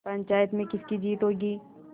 पंचायत में किसकी जीत होगी